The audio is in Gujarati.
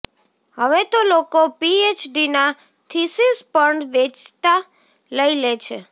હવે તો લોકો પીએચડીના થીસીસ પણ વેંચાતા લઇ લે છે